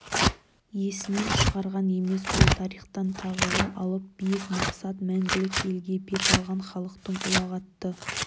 есінен шығарған емес бұл тарихтан тағылым алып биік мақсат мәңгілік елге бет алған халықтың ұлағатты